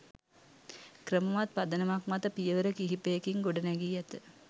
ක්‍රමවත් පදනමක් මත පියවර කිහිපයකින් ගොඩනැඟී ඇත.